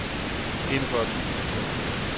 enogfyrre tusind og tre